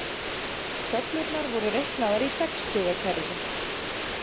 Töflurnar voru reiknaðar í sextugakerfi.